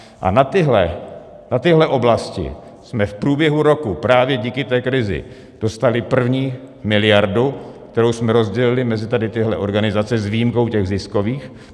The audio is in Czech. A na tyhle oblasti jsme v průběhu roku právě díky té krizi dostali první miliardu, kterou jsme rozdělili mezi tady tyhle organizace s výjimkou těch ziskových.